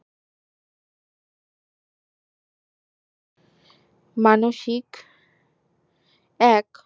মানুষিক এক